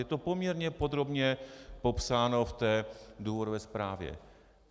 Je to poměrně podrobně popsáno v té důvodové zprávě.